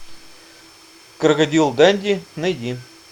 крокодил данди найди